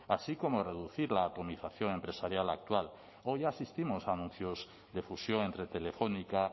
así como reducir la atomización empresarial actual hoy ya asistimos a anuncios de fusión entre telefónica